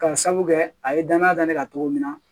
Ka sabu kɛ a ye danaya da ne kan cogo min na